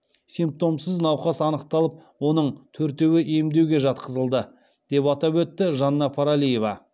симптомсыз науқас анықталып оның төртеуі емдеуге жатқызылды деп атап өтті жанна паралиева